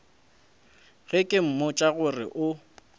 ge ke mmotša gore o